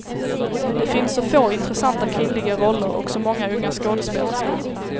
Det finns så få intressanta kvinnliga roller och så många unga skådespelerskor.